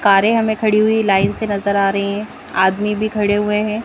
कारें हमें खड़ी हुई लाइन से नजर आ रही हैं आदमी भी खड़े हुए हैं।